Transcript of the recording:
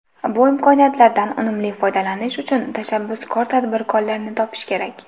Bu imkoniyatlardan unumli foydalanish uchun tashabbuskor tadbirkorlarni topish kerak.